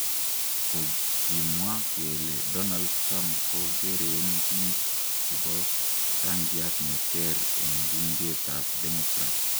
Kogimwa kelee Donald Trump kogeren biik chebo rangiat neeter en bunget ab Democratic.